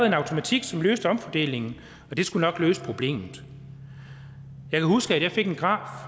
en automatik som løste omfordelingen og det skulle nok løse problemet jeg husker at jeg fik en graf